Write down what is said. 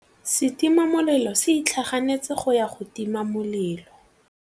Setima molelô se itlhaganêtse go ya go tima molelô.